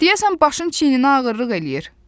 Deyəsən başın çiyninə ağırlıq eləyir.